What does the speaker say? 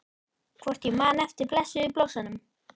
Hvort ég man eftir blessuðum blossanum?